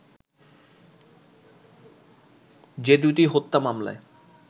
যে দু'টি হত্যা মামলায়